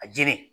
A jeli